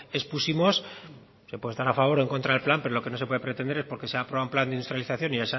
expusimos se puede estar a favor o en contra del plan pero lo que no se puede pretender que porque se ha aprobado un plan de industrialización y